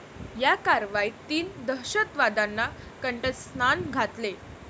या कारवाईत तीन दहशतवाद्यांना कंठस्नान घातले.